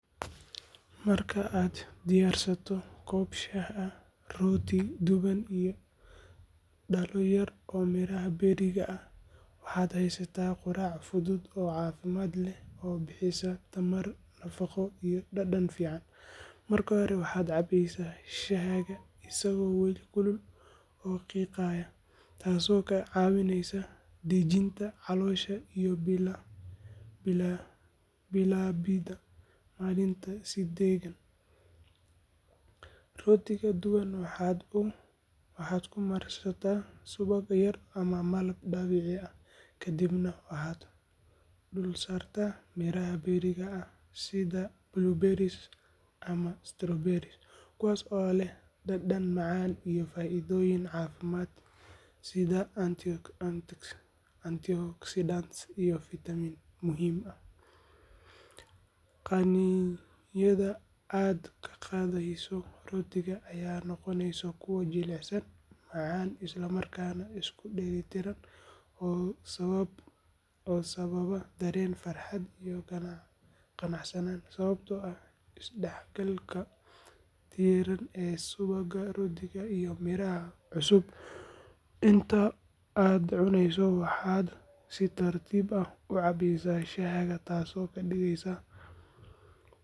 Marka aad diyaarsato koob shaah ah, rooti duban iyo dhalo yar oo miraha berriga ah, waxaad haysataa quraac fudud oo caafimaad leh oo bixisa tamar, nafaqo iyo dhadhan fiican. Marka hore, waxaad cabaysaa shaahaaga isagoo weli kulul oo qiiqaya, taasoo kaa caawinaysa dejinta caloosha iyo bilaabidda maalinta si deggan. Rootiga duban waxaad ku marsataa subag yar ama malab dabiici ah, kadibna waxaad dul saartaa miraha berriga ah sida blueberries ama strawberries, kuwaas oo leh dhadhan macaan iyo faa’iidooyin caafimaad sida antioxidants iyo fiitamiino muhiim ah. Qaniinyada aad ka qaadayso rootiga ayaa noqonaysa kuwo jilicsan, macaan, isla markaana isku dheellitiran oo sababa dareen farxad iyo qanacsanaan, sababtoo ah isdhexgalka diirran ee subagga, rootiga iyo miraha cusub. Inta aad cunayso, waxaad si tartiib ah u cabaysaa shaahaaga, taasoo ka dhigaysa.